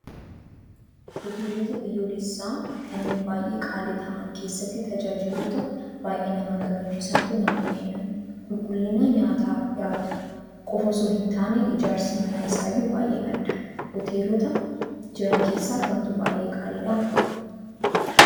Hoteelota biyyoolessaa kanneen baay'ee qaalii ta'an keessatti tajaajiloota baay'ee nama gammachiisantu namaaf kennama. Qulqullina nyaata dhiyaatuu qofaa osoo hin taane ijaarsi mana isaayyuu baay'ee adda. Hoteelota jiran keessaa kamtu baay'ee qaaliidhaa?